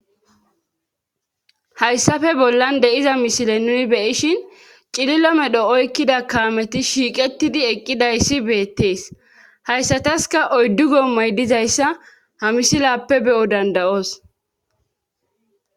hayssappe bollan de'iza misile nuni beyishin cililo medho oykkida kaameti shiiqetidi eqqidayssi beettees hayssataskka oyddu gommoy dizayssa ha misilappe be'o danda'os